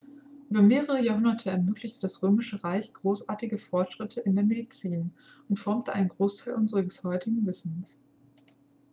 über mehrere jahrhunderte ermöglichte das römische reich großartige fortschritte in der medizin und formte einen großteil unseres heutigen wissens